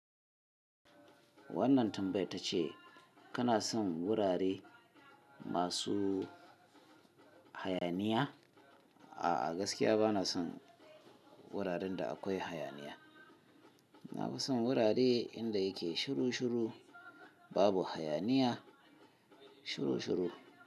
Wannan tambaya ta ce kana son wurare masu hayaniya? A'a, gaskiya bana son wuraren da akwai hayaniya. Na fi son wurare inda yake shiru shiru, babu hayaniya, shiru shiru.